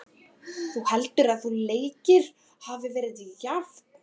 Þú heldur að þessi leikur hafi verið jafn?